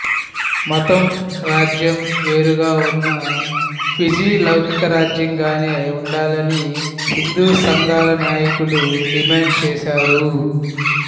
మతం రాజ్యం వేరుగా ఉన్న ఫిజీ లౌకిక రాజ్యంగానే ఉండాలని హిందూ సంఘాల నాయకులు డిమాండ్ చేశారు